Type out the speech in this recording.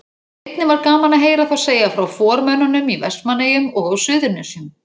Einnig var gaman að heyra þá segja frá formönnunum í Vestmannaeyjum og á Suðurnesjum.